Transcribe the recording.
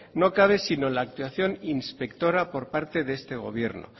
no cabe sino la actuación inspectora por parte de este gobierno